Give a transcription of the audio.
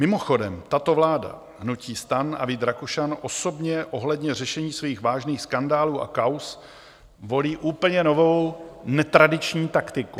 Mimochodem, tato vláda, hnutí STAN a Vít Rakušan osobně ohledně řešení svých vážných skandálů a kauz volí úplně novou, netradiční taktiku.